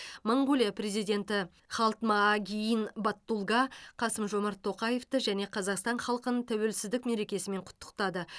моңғолия президенті халтмаагийн баттулга қасым жомарт тоқаевты және қазақстан халқын тәуелсіздік мерекесімен құттықтады